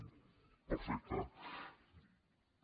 ) perfecte